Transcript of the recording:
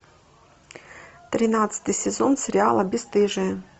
тринадцатый сезон сериала бесстыжие